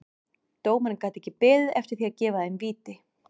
Dómarinn gat ekki beðið eftir því að gefa þeim víti.